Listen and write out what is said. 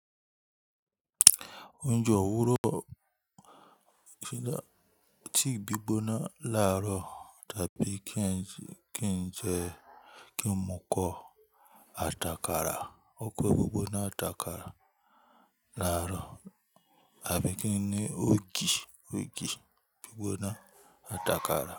Oúnjẹ òwúrọ̀ tea gbígbóná làárọ̀ tàbí kí n jẹ kí n mu kọ̀ àtàkàrà. Ekó gbigboná ati àkàrà làárọ̀ àbí kí n ní ògì, ògì gbí gbóná àtàkàrà.